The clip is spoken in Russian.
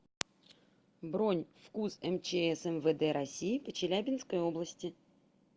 бронь фкуз мчс мвд россии по челябинской области